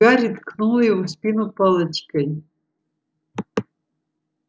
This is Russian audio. гарри ткнул его в спину палочкой